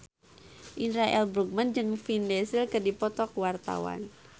Indra L. Bruggman jeung Vin Diesel keur dipoto ku wartawan